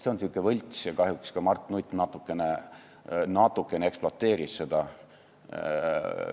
See on sihuke võlts asi ja kahjuks ka Mart Nutt natukene ekspluateeris seda.